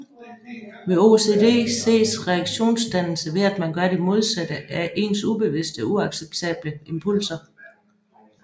Ved OCD ses reaktionsdannelse ved at man gør det modsatte af ens ubevidste og uacceptable impulser